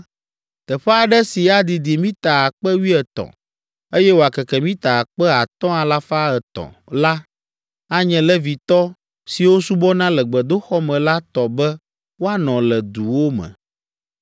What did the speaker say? Teƒe aɖe si adidi mita akpe wuietɔ̃ (13,000), eye wòakeke mita akpe atɔ̃ alafa etɔ̃ (5,300) la, anye Levitɔ siwo subɔna le gbedoxɔ me la tɔ be woanɔ le duwo me.